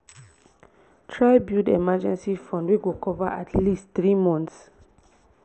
try build emergency fund wey go cover at least three months